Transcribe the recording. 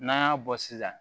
N'an y'a bɔ sisan